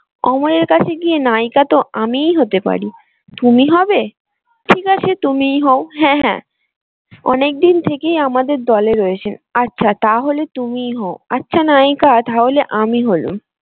অমরের কাছে গিয়ে নায়িকা তো আমিই হতে পারি। তুমি হবে? ঠিক আছে তুমিই হও হ্যাঁ হ্যাঁ অনেক দিন থেকেই আমাদের দলে রয়েছে আচ্ছা তাহলে তুমিই হও। আচ্ছা নায়িকা তাহলে আমি হলুম।